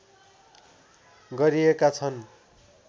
गरिएका छन्